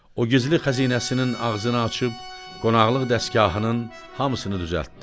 O gizli xəzinəsinin ağzını açıb qonaqlıq dəsgahının hamısını düzəltdi.